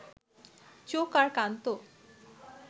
চোখ আর কান তো